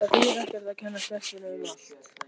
Það þýðir ekkert að kenna stelpunni um allt.